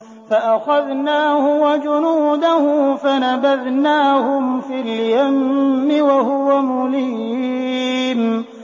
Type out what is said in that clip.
فَأَخَذْنَاهُ وَجُنُودَهُ فَنَبَذْنَاهُمْ فِي الْيَمِّ وَهُوَ مُلِيمٌ